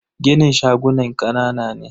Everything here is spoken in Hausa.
ginin shagunan kanana ne.